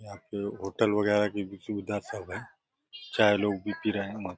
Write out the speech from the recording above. यहाँ पे होटल वगैरह की भी सुविधा सब है चाहे लोग रहें।